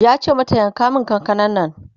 yace mata mata "yanka min kakanan Nan!''